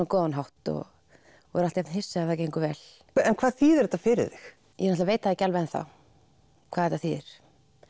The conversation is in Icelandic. góðan hátt og er alltaf jafn hissa ef það gengur vel hvað þýðir þetta fyrir þig ég veit það ekki alveg enn þá hvað þetta þýðir